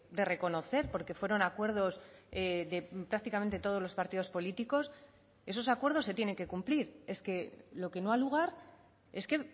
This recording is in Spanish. de reconocer porque fueron acuerdos de prácticamente todos los partidos políticos esos acuerdos se tienen que cumplir es que lo que no ha lugar es que